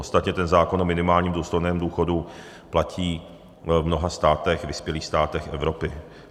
Ostatně ten zákon o minimálním důstojném důchodu platí v mnoha státech, vyspělých státech Evropy.